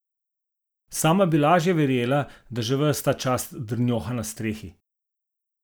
Sama bi laže verjela, da že ves ta čas drnjoha na strehi.